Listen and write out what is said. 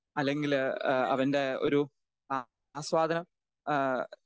speaker 2 അല്ലെങ്കില് ഏഹ് അവൻ്റെ ഒരു അ ആസ്വാദനം ഏഹ്